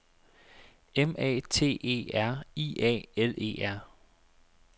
M A T E R I A L E R